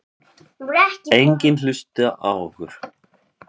Enginn hlusta á okkur.